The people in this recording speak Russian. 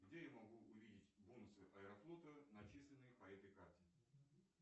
где я могу увидеть бонусы аэрофлота начисленные по этой карте